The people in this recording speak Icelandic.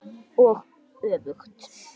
Og öfugt.